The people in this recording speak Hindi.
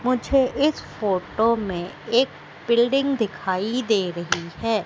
मुझे इस फोटो में एक बिल्डिंग दिखाई दे रही हैं।